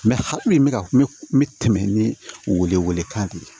hakɛ min bɛ ka n bɛ tɛmɛ ni wele kan de ye